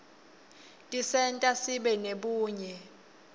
tisenta sibe nebunye